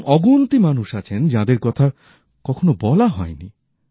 এরকম অগুন্তি মানুষ আছেন যাদের কথা কখোনো বলা হয় নি